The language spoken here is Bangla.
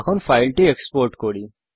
এখন ফাইলটি এক্সপোর্ট করি